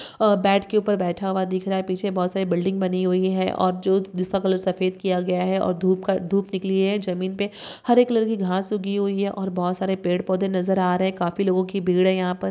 अ bat के ऊपर बैठा हुआ दिख रहा है पीछे बहुत सारी बिल्डिंग बनी हुई हैं और जो जिसका कलर सफेद किया गया है और धूप का धूप निकली है जमीन पे हरे कलर की घास उगी हुई है और बहुत सारे पड़े पौधे नजर आ रहे हैं काफी लोगों की भीड़ है यहाँ पर।